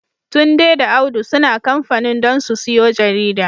Tunde da Audu suna kamfanin don su siyo jarida.